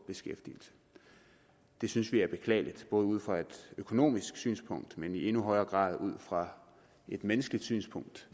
beskæftigelse det synes vi er beklageligt ud fra et økonomisk synspunkt men i endnu højere grad ud fra et menneskeligt synspunkt